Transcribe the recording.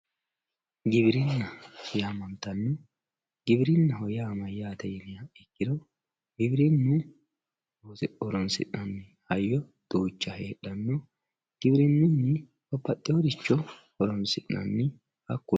Giwirinna yaamantanno giwirinaho yaa maayatte yiniha ikiro giwirinu loonse horonsinanni hayyo duucha hedhano giwirinunni baabaxeworicho horonsinanni haakuno